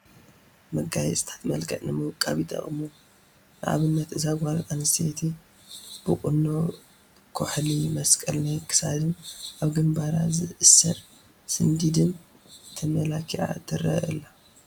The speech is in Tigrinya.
መጋየፅታት መልክዕ ንምውቃብ ይጠቕሙ፡፡ ንኣብነት እዛ ጓል ኣንስተይቲ ብቑኖ፣ ኩሕሊ፣ መስቀል ናይ ክሳድን ኣብ ግንባር ዝእሰር ስንዲድን ተመላኪዓ ትርአ ኣላ፡፡